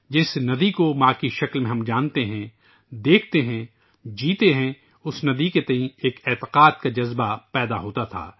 جس ندی کو ماں کے طور پر ہم جانتے ہیں ، دیکھتے ہیں ، جیتے ہیں اس ندی کے تئیں ایک یقین کا جذبہ پیدا ہوتا تھا